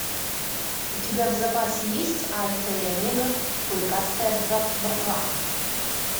у тебя в запасе есть альфа и омега клыкастая братва